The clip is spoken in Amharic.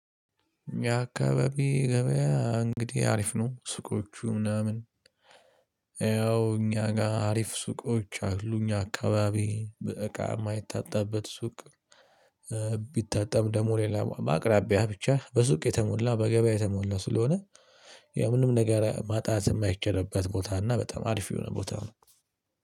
የአካባቢ ገበያ እንግዲህ አሪፍ ነው ሱቆቹ ምናምን ያው እኛ ጋር አሪፍ ሱቆች አሉኝ አካባቢ በእቃ የማይታጣበት ሱቅ። ደግሞ ሌላ በአቅራቢያ ብቻ በሱቅ የተሞላ በገበያ የተሞላ ስለሆነ ምንም ነገር ማጣት የማይቻልበት ቦታ እና በጣም አሪፍ የሆነ ቦታ ነው